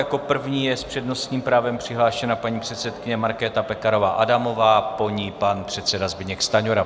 Jako první je s přednostním právem přihlášená paní předsedkyně Markéta Pekarová Adamová, po ní pan předseda Zbyněk Stanjura.